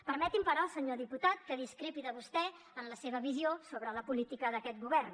permeti’m però senyor diputat que discrepi de vostè en la seva visió sobre la política d’aquest govern